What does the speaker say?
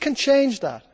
We can change that.